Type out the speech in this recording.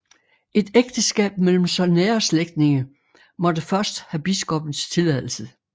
Et ægteskab mellem så nære slægtninge måtte først have biskoppens tilladelse